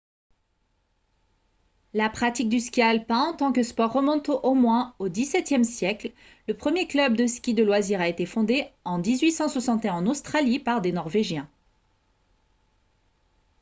la pratique du ski alpin en tant que sport remonte au moins au xviie siècle le premier club de ski de loisirs a été fondé en 1861 en australie par des norvégiens